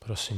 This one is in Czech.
Prosím.